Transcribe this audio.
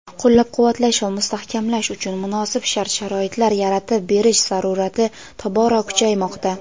qo‘llab-quvvatlash va mustahkamlash uchun munosib shart-sharoitlar yaratib berish zarurati tobora kuchaymoqda.